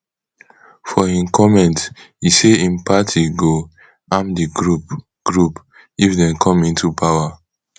for im comment e say im party go arm di group group if dem come into power